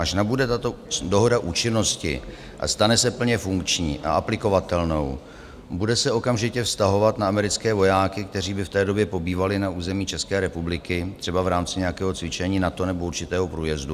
Až nabude tato dohoda účinnosti a stane se plně funkční a aplikovatelnou, bude se okamžitě vztahovat na americké vojáky, kteří by v té době pobývali na území České republiky třeba v rámci nějakého cvičení NATO nebo určitého průjezdu?